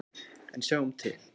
En sjáum til.